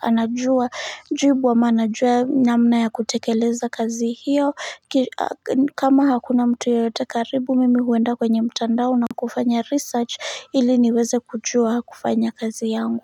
anajua jibu ama anajua namna ya kutekeleza kazi hiyo kama hakuna mtu yeyote karibu mimi huenda kwenye mtandao na kufanya research ili niweze kujua kufanya kazi yangu.